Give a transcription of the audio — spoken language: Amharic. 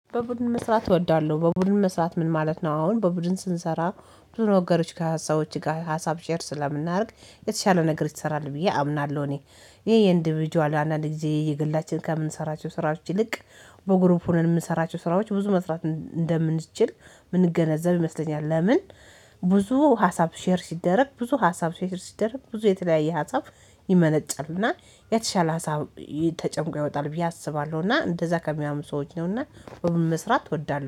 በቡድን መስራት እወዳለሁ በቡድን መስራት ምን ማለት ነው? አሁን በቡድን ስንሰራ ብዙ ነገሮች ከሀሳቦች ጋር ሀሳብ ሼር ስለምናደርግ የተሻለ ነገር ይሰራል ብዬ አምናለሁ። እኔ ይሄ የኢንዲቪጅዋል አንዳንድ ጊዜ የግላችን ከምንሰራቸው ስራዎች ይልቅ በግሩፕ ሆነን የምንሰራቸው ስራዎች ብዙ መስራት እንደምንችል የምንገነዘብ ይመስለኛል። ለምን ብዙ ሀሳብ ሼር ሲደረግ ብዙ ሀሳብ ሼር ሲደረግ ብዙ የተለያየ ሀሳብ ይመነጫልና የተሻለ ሀሳብ ተጨንቆ ይወጣል ብዬ አስባለሁ እና እንደዛ ከሚያምኑ ሰዎች ነውና። በመስራት እወዳለሁ